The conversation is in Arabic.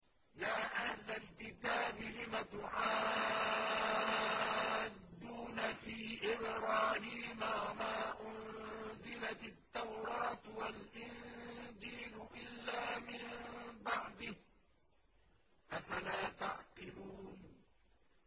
يَا أَهْلَ الْكِتَابِ لِمَ تُحَاجُّونَ فِي إِبْرَاهِيمَ وَمَا أُنزِلَتِ التَّوْرَاةُ وَالْإِنجِيلُ إِلَّا مِن بَعْدِهِ ۚ أَفَلَا تَعْقِلُونَ